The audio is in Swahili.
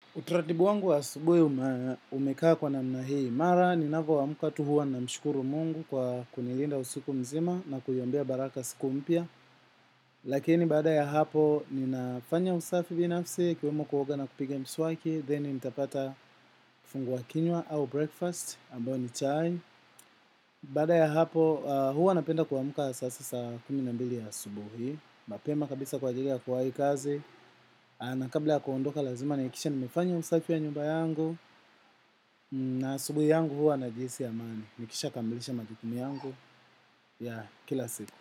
Utaratibu wangu wa asubuhi umekaa kwa namna hii mara, ni napoamka tu huwa namshukuru Mungu kwa kunilinda usiku mzima na kuiombea baraka siku mpya. Lakini baada ya hapo, ninafanya usafi binafsi, ikiwemo kuoga na kupiga mswaki, then nitapata kifungua kinywa au breakfast, ambayo ni chai. Baada ya hapo, huwa napenda kuamka sasa saa kumi na mbili ya asubuhi, mapema kabisa kwa ajili ya kuwahii kazi. Na kabla ya kuondoka lazima nahakikisha nimefanya usafi ya nyumba yangu. Na asubuhi yangu huwa najihisi amani, nikishakamilisha majukumu yangu ya kila siku.